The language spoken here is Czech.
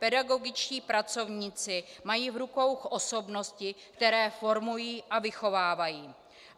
Pedagogičtí pracovníci mají v rukou osobnosti, které formují a vychovávají.